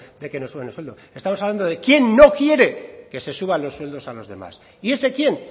de que suban el sueldo estamos hablando de quién no quiere que se suba los sueldos a los demás y ese quién